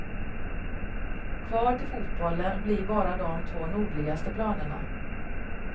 Kvar till fotbollen blir bara de två nordligaste planerna.